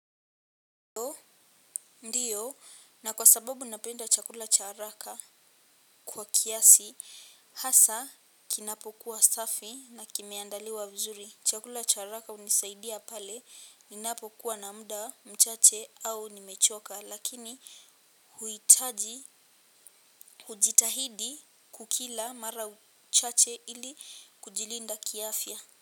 Ndiyo na kwa sababu napenda chakula cha haraka kwa kiasi hasa kinapokuwa safi na kimeandaliwa vizuri chakula cha haraka hunisaidia pale ninapokuwa na muda mchache au nimechoka lakini hujitahidi kukila mara chache ili kujilinda kiafya.